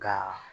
Ka